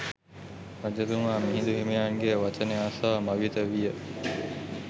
රජතුමා මිහිඳු හිමියන්ගේ වචනය අසා මවිත විය.